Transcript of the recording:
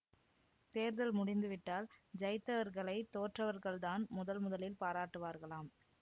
தேர்தல் முடிந்துவிட்டால் ஜயித்தவர்களைத் தோற்றவர்கள் தான் முதல் முதலில் பாராட்டுவார்களாம்